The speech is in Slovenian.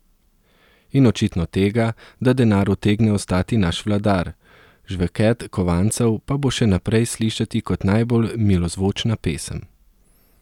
In očitno tega, da denar utegne ostati naš vladar, žvenket kovancev pa bo še naprej slišati kot najbolj milozvočna pesem.